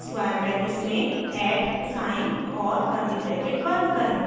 square brackets में at sign @ और curly bracket बंद करें